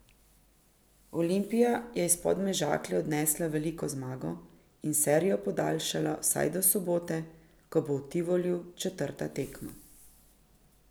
Olimpija je iz Podmežakle odnesla veliko zmago in serijo podaljšala vsaj do sobote, ko bo v Tivoliju četrta tekma.